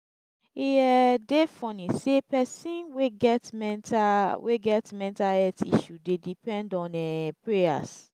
e um dey funny sey pesin wey get mental wey get mental health issue dey depend on um prayers.